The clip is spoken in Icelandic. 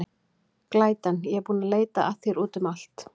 Glætan, ég er búin að leita að þér út um allt.